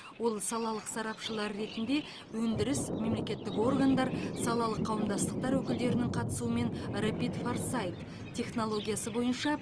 ол салалық сарапшылар ретінде өндіріс мемлекеттік органдар салалық қауымдастықтар өкілдерінің қатысуымен рапид форсайт технологиясы бойынша